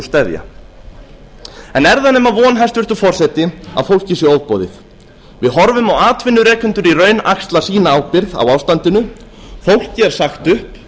steðja er það nema von hæstvirtur forseti að fólki sé ofboðið við horfum á atvinnurekendur í raun axla sína ábyrgð á ástandinu fólki er sagt upp